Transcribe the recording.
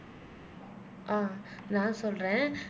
அஹ் நான் சொல்றேன்